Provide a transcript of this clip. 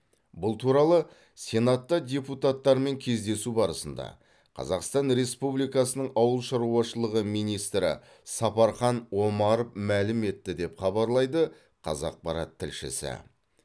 бұл туралы сенатта депутаттармен кездесу барысында қазақстан республикасының ауыл шаруашылығы министрі сапархан омаров мәлім етті деп хабарлайды қазақпарат тілшісі